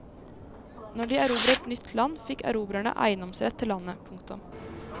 Når de erobret nytt land fikk erobrerne eiendomsrett til landet. punktum